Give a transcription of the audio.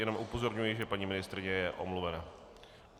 Jenom upozorňuji, že paní ministryně je omluvena.